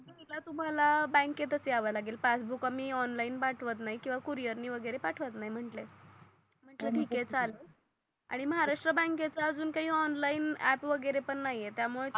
तर तुम्हाला बँकेतच याव लागेल पासबूक आम्ही ऑनलाइन पाठवत नाही किवा कुरियर णी वगेरे पाठवत नाही म्हंटले तर तर ठीक आहे चालेल आणि महाराष्ट्र बँकेचा अजून काही ऑनलाइन आप वगेरे पण नाही त्या मूळे तर